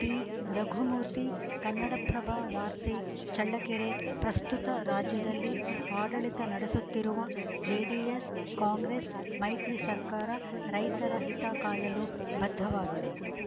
ಟಿರಘುಮೂರ್ತಿ ಕನ್ನಡಪ್ರಭ ವಾರ್ತೆ ಚಳ್ಳಕೆರೆ ಪ್ರಸ್ತುತ ರಾಜ್ಯದಲ್ಲಿ ಆಡಳಿತ ನಡೆಸುತ್ತಿರುವ ಜೆಡಿಎಸ್‌ಕಾಂಗ್ರೆಸ್‌ ಮೈತ್ರಿ ಸರ್ಕಾರ ರೈತರ ಹಿತ ಕಾಯಲು ಬದ್ಧವಾಗಿದೆ